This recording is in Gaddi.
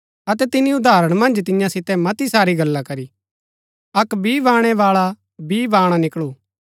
अतै तिनी उदाहरण मन्ज तियां सितै मती सारी गल्ला करी अक्क बी बाणैबाळा बी बाणा निकळू